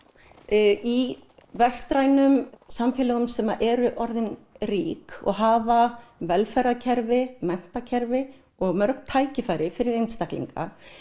í vestrænum samfélögum sem eru orðin rík og hafa velferðarkerfi menntakerfi og mörg tækifæri fyrir einstaklinga